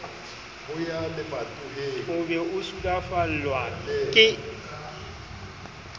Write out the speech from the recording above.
o be o sulafallwa ke